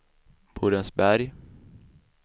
Borensberg